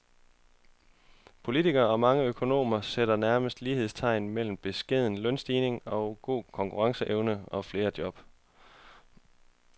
Politikere og mange økonomer sætter nærmest lighedstegn mellem beskedne lønstigninger og god konkurrenceevne og flere job.